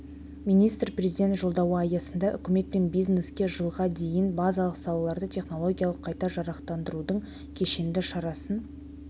министр президент жолдауы аясында үкімет пен бизнеске жылға дейін базалық салаларды технологиялық қайта жарақтандырудың кешенді шарасын